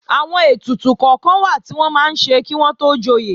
Àwọn ètùtù kọ́kan wà tí wọ́n máa ń ṣe kí wọ́n tó joyè